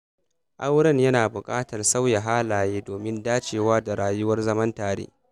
Auren yana buƙatar sauya halaye domin dacewa da rayuwar zaman tare.